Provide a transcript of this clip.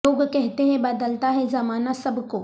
لوگ کہتے ہیں بد لتا ہے زمانہ سب کو